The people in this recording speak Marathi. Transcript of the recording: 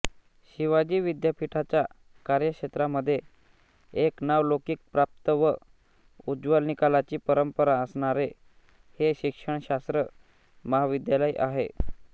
शिवाजी विद्यापीठाच्या कार्यक्षेत्रामध्ये एक नावलौकिकप्राप्त व उज्ज्वल निकालाची परंपरा असणारे हे शिक्षणशास्त्र महाविद्यालय आहे